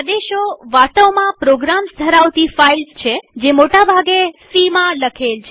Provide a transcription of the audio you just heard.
આદેશો વાસ્તવમાં પ્રોગ્રામ્સ ધરાવતી ફાઈલ્સ છેજે મોટા ભાગે સી માં લખેલ છે